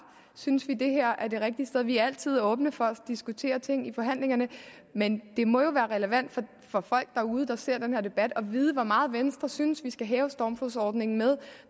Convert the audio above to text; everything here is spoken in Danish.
synes vi at det her er det rigtige sted vi er altid åbne for at diskutere ting i forhandlingerne men det må jo være relevant for folk derude der ser den her debat at vide hvor meget venstre synes at vi skal hæve stormflodsordningen med